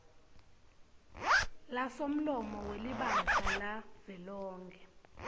lasomlomo welibandla lavelonkhe